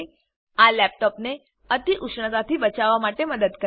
આ લેપટોપને અતિઉષ્ણતાથી બચાવવા માટે મદદ કરે છે